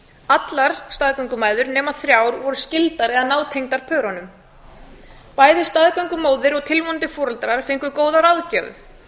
allar staðgöngumæður nema þrjár voru skyldareða nátengdar pörunum bæði staðgöngumóðir og tilvonandi foreldrar fengu góðar aðgerðir